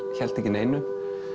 héldu ekki neinu